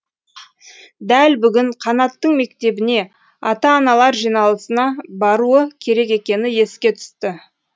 дәл бүгін қанаттың мектебіне ата аналар жиналысына баруы керек екені еске түсті